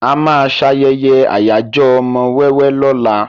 Àwa máa ṣayẹyẹ ayajo ọmọ wẹ́wẹ́ lóla.